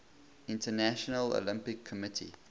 international olympic committee